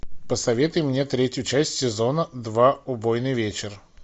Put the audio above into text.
посоветуй мне третью часть сезона два убойный вечер